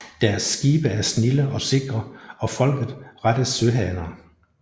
Deres Skibe er snilde og sikre og Folket rette Søhaner